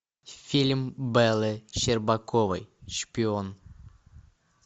фильм беллы щербаковой шпион